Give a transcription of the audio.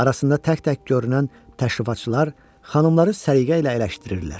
Arasında tək-tək görünən təşrifatçılar xanımları səliqə ilə əyləşdirirlər.